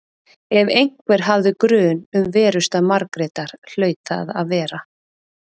Ef einhver hafði grun um verustað Margrétar hlaut það að vera